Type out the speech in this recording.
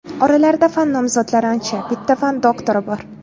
Oralarida fan nomzodlari ancha, bitta fan doktori bor.